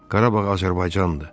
Qarabağ Azərbaycandır.